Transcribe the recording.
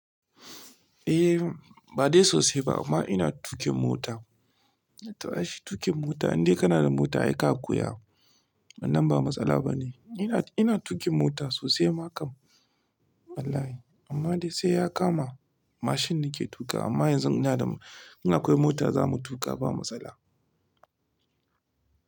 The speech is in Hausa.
Eh, ba dai sosai ba amma ina tuƙin mota. To aishi tuƙin mota, in dai kana da mota aika koya, wannan ba matsala ba ne. Ina, ina tuƙin mota sosai makam. Wallahi amma dai sai ya kama mashin nake tuƙa amma yanzu ina da in akwai mota zamu tuƙa ba matsala.